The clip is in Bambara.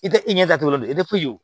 I tɛ i ɲɛ datugu i tɛ foyi